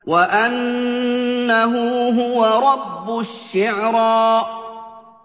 وَأَنَّهُ هُوَ رَبُّ الشِّعْرَىٰ